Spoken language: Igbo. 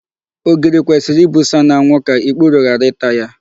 Ogiri kwesịrị ibusa n'anwụ ka ikpuru ghara ịta ya.